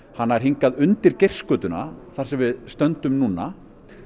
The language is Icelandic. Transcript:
hann nær hingað undir þar sem við stöndum núna